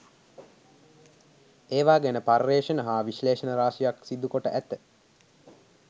ඒවා ගැන පර්යේෂණ හා විශ්ලේෂණ රාශියක් සිදු කොට ඇත.